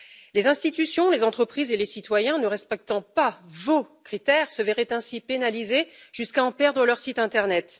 Les institutions, les entreprises et les citoyens ne respectant pas vos critères se verraient ainsi pénalisés jusqu'à en perdre leur site internet.